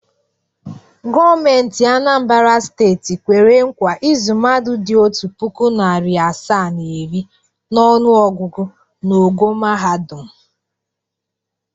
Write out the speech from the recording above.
Gọọmentị Anambara steeti kwere nkwa ịzụ mmadụ dị otu puku, narị asaa na iri n’ọnụọgụgụ n’ogo mahadum.